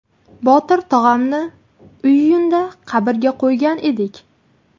Botir tog‘amni iyunda qabrga qo‘ygan edik.